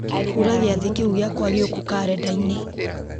hura gĩathĩ kĩu gĩakwa gĩũku karenda-inĩ